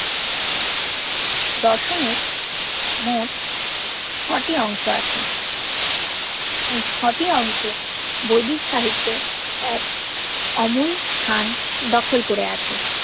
দর্শন এর মোট ছটি অংশ আছে এই ছটি অংশ বৈদিক সাহিত্যে এক অমুল স্থান দখল কোরে আছে